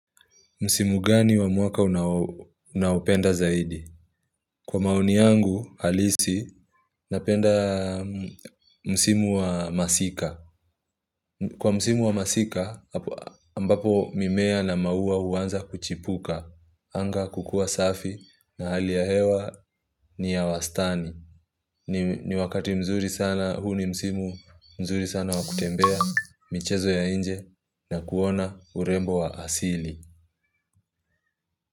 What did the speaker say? Msimu gani wa mwaka unao, unaopenda zaidi? Kwa maoni yangu, halisi, napenda m msimu wa masika. Kwa msimu wa masika, ambapo mimea na mauwa huanza kuchipuka. Anga kukua safi na hali ya hewa ni ya wastani. Ni ni wakati mzuri sana, huu ni msimu mzuri sana wa kutembea, michezo ya inje na kuona urembo wa asili.